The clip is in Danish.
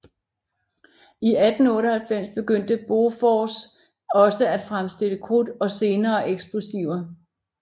I 1898 begyndte Bofors også at fremstille krudt og senere eksplosiver